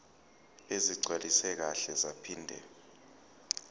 ezigcwaliswe kahle zaphinde